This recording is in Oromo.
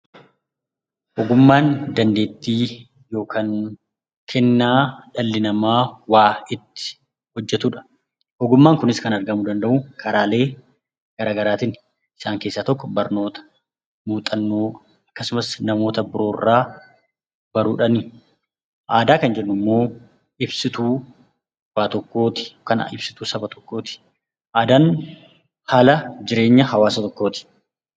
Ogummaan dandeettii yookaan kennaa dhalli namaa ittiin hojjatudha. Ogummaan Kunis kan argamuu danda'u karaalee garaagaraatiini. Isaan keessaa tokko barnoota, muuxannoo, akkasumas namoota biroorraa baruudhaani. Aadaa kan jennu immoo ibsituu Saba yookaan waan tokkooti